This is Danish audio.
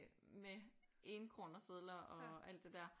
Med 1 kroner sedler og alt det der